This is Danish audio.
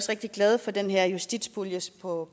rigtig glade for den her justitspulje på